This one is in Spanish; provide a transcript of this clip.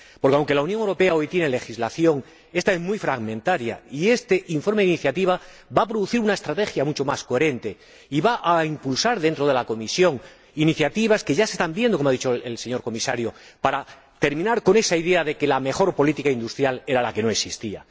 Porque, aunque la Unión Europea dispone hoy de una legislación, ésta es muy fragmentaria y este informe de iniciativa va a producir una estrategia mucho más coherente y va a impulsar dentro de la Comisión iniciativas que ya se están viendo, como ha dicho el señor Comisario, para terminar con esa idea de que la mejor política industrial era la que no existía.